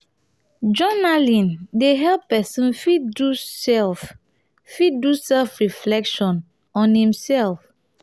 journaling dey help person fit do self fit do self reflection on im self